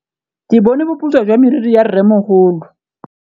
Ke bone boputswa jwa meriri ya rrêmogolo.